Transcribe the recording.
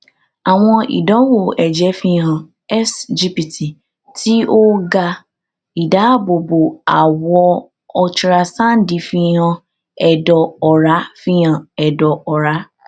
awọn idanwo ẹjẹ fihan sgpt ti o ga idaabobo awọ olutirasandi fihan ẹdọ ọra fihan ẹdọ ọra